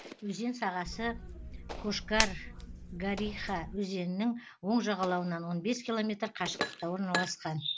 өзен сағасы кошкаргариха өзенінің оң жағалауынан он бес километр қашықтықта орналасқан